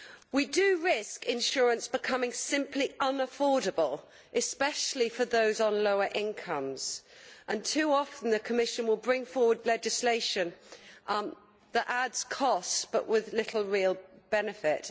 We do risk insurance becoming simply unaffordable, especially for those on lower incomes, and too often the Commission will bring forward legislation that adds costs but has little real benefit.